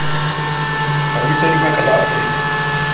mabitso a dibaka la afrika